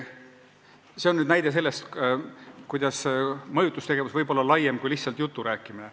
See on näide sellest, kuidas mõjutustegevus võib olla laiem kui lihtsalt jutu rääkimine.